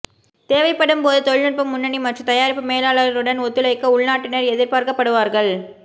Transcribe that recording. தேவைப்படும் போது தொழில்நுட்ப முன்னணி மற்றும் தயாரிப்பு மேலாளருடன் ஒத்துழைக்க உள்நாட்டினர் எதிர்பார்க்கப்படுவார்கள்